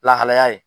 Lahalaya ye